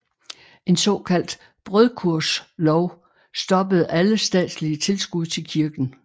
En såkaldt brødkurvslov stoppede alle statslige tilskud til kirken